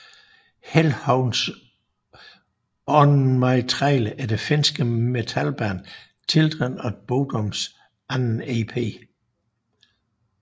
Hellhounds On My Trail er det finske metalband Children of Bodoms anden ep